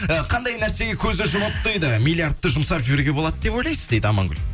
і қандай нәрсеге көзді жұмып дейді миллиардты жұмсап жіберуге болады деп ойлайсыз дейді амангүл